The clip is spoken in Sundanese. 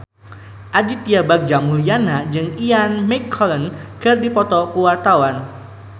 Aditya Bagja Mulyana jeung Ian McKellen keur dipoto ku wartawan